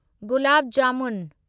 gulab jamun